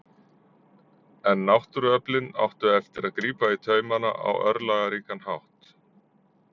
En náttúruöflin áttu eftir að grípa í taumana á örlagaríkan hátt.